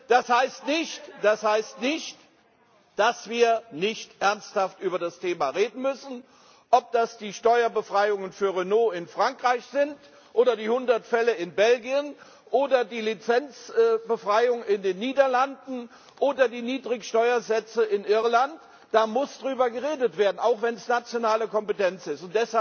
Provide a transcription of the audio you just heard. Das heißt nicht, dass wir nicht ernsthaft über das Thema reden müssen Ob das die Steuerbefreiungen für Renault in Frankreich sind oder die hundert Fälle in Belgien oder die Lizenzbefreiung in den Niederlanden oder die Niedrig Steuersätze in Irland es muss darüber geredet werden, auch wenn es nationale Kompetenz ist.